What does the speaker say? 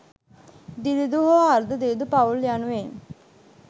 දිළිඳු හෝ අර්ධ දිළිඳු පවුල් යනුවෙන්